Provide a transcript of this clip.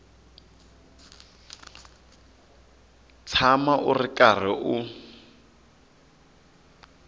tshama u ri karhi u